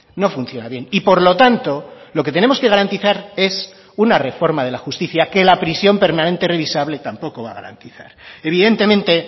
no funciona bien y por lo tanto lo que tenemos que garantizar es una reforma de la justicia que la prisión permanente revisable tampoco va a garantizar evidentemente